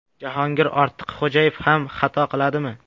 Jahongir Ortiqxo‘jayev ham xato qiladimi?